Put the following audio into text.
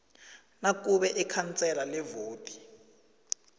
nakube ikhansela lewodi